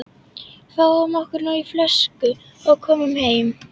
Fáum okkur nú flösku og komum heim.